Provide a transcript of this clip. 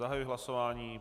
Zahajuji hlasování.